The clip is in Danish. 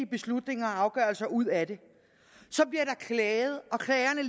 beslutninger og afgørelser ud af det så bliver der klaget og klagerne